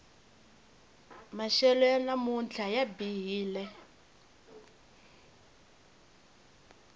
maxelo ya namuntlha ya bihile